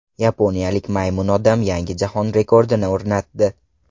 Yaponiyalik Maymun odam yangi jahon rekordini o‘rnatdi.